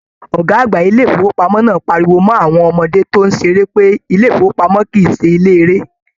"Ọgá àgbà ilé ifowopamọ náà pariwo mọ awọn ọmọdé tó n ṣeré pé ilé ifowopamọ kìí ṣe ilé eré!